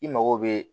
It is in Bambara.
I mago bɛ